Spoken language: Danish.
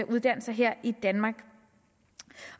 uddannelser her i danmark